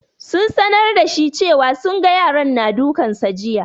Sun sanar da shi cewa sun ga yaran na dukan sa jiya.